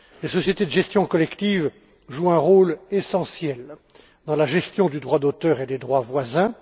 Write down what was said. Les sociétés de gestion collective jouent un rôle essentiel dans la gestion du droit d'auteur et des droits voisins.